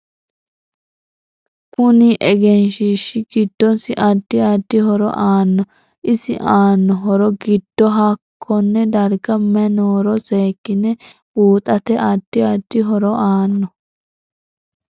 Kunni egeshiishi giddosi addi addi horo aanno isi aanno horo giddo hakkone darga mayi nooro seekine buuxate addi addi horo aanno